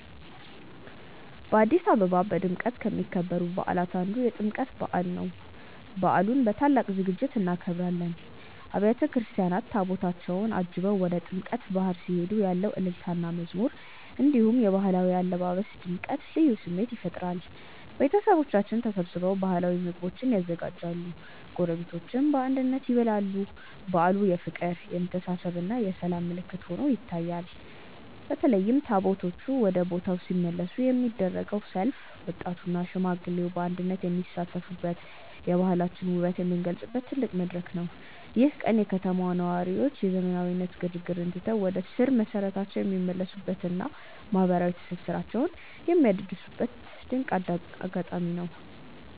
በአዲስ አበባ በድምቀት ከሚከበሩ በዓላት አንዱ የጥምቀት በዓል ነው። በዓሉን በታላቅ ዝግጅት እናከብራለን። አብያተ ክርስቲያናት ታቦታታቸውን አጅበው ወደ ጥምቀተ ባሕር ሲሄዱ ያለው እልልታና መዝሙር፣ እንዲሁም የባህላዊ አለባበስ ድምቀት ልዩ ስሜት ይፈጥራል። ቤተሰቦቻችን ተሰብስበው ባህላዊ ምግቦችን ያዘጋጃሉ፤ ጎረቤቶችም በአንድነት ይበላሉ። በዓሉ የፍቅር፣ የመተሳሰብና የሰላም ምልክት ሆኖ ይታያል። በተለይም ታቦታቱ ወደ ቦታው ሲመለሱ የሚደረገው ሰልፍ ወጣቱና ሽማግሌው በአንድነት የሚሳተፉበት፣ የባህላችንን ውበት የምንገልጽበት ትልቅ መድረክ ነው። ይህ ቀን የከተማዋ ነዋሪዎች የዘመናዊነት ግርግርን ትተው ወደ ስር መሰረታቸው የሚመለሱበትና ማህበራዊ ትስስራቸውን የሚያድሱበት ድንቅ አጋጣሚ ነው።